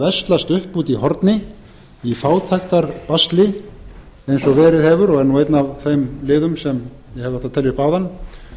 veslast upp úti í horni í fátæktarbasli eins og verið hefur og er nú einn af þeim liðum sem ég hefði átt að telja upp áðan